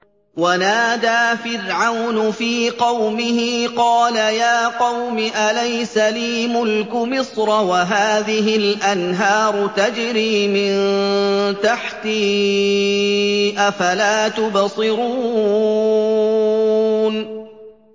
وَنَادَىٰ فِرْعَوْنُ فِي قَوْمِهِ قَالَ يَا قَوْمِ أَلَيْسَ لِي مُلْكُ مِصْرَ وَهَٰذِهِ الْأَنْهَارُ تَجْرِي مِن تَحْتِي ۖ أَفَلَا تُبْصِرُونَ